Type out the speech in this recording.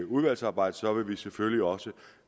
udvalgsarbejdet vil vi selvfølgelig også